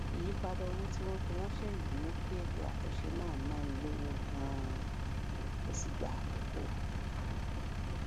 ìyípadà owó tí wọn fi ránṣẹ yìí mú kí ètò àtúnṣe náà náni lówó ganan ó sì gba àkókò